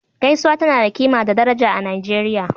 Gaisuwa tana da kima da daraja a Nijeriya